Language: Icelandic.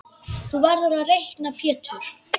Þú verður að reikna Pétur.